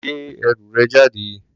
Gbé ẹrù rẹ̀ jáde.